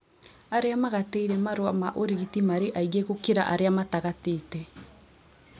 Arĩa magatĩire marũa ma ũrigiti marĩ aingĩ gũkĩra arĩa matagatĩte